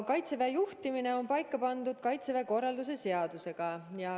Kaitseväe juhtimine on paika pandud Kaitseväe korralduse seadusega.